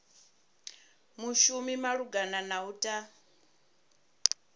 mushumi malugana na u ta